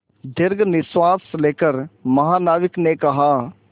दीर्घ निश्वास लेकर महानाविक ने कहा